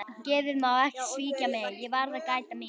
Geðið má ekki svíkja mig, ég verð að gæta mín.